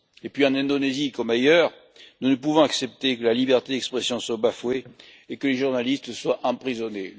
Et puis, en Indonésie comme ailleurs, nous ne pouvons accepter que la liberté d'expression soit bafouée et que des journalistes soient emprisonnés.